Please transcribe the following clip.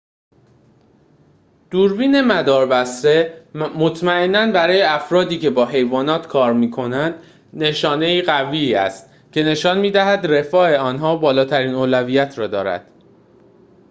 دوربین مداربسته مطمئناً برای افرادی‌که با حیوانات کار می‌کنند نشانه‌ای قوی است که نشان می‌دهد رفاه آن‌ها بالاترین اولویت را دارد